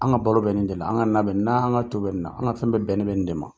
An ka balo bɛ nin jde la. An ka na bɛ nin de la. N'an ka to bɛ nin na. An ka fɛn bɛɛ bɛn ni bɛ nin de ma.